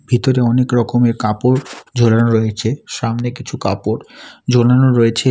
ভিতরে অনেক রকমের কাপড় ঝোলানো রয়েছে সামনে কিছু কাপড় ঝোলানো রয়েছে।